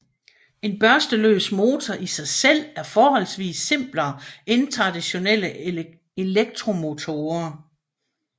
En børsteløs motor i sig selv er forholdsvis simplere end traditionelle elektromotorer